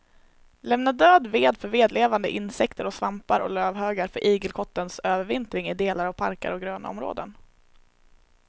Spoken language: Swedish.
Lämna död ved för vedlevande insekter och svampar och lövhögar för igelkottens övervintring i delar av parker och grönområden.